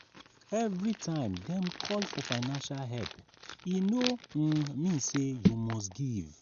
every time dem call for financial help e no um mean say you must give.